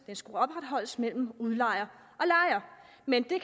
den skulle opretholdes mellem og udlejer men